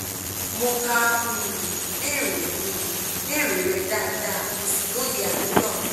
mo ka um ìbéèrè um ìbéèrè rẹ dáadáa mo sì lóye àníyàn rẹ